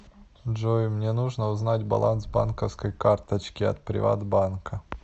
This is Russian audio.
джой мне нужно узнать баланс банковской карточки от приват банка